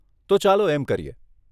તો ચાલો એમ કરીએ.